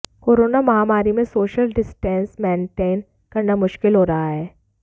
corona महामारी में social distance maintain करना मुश्किल हो रहा है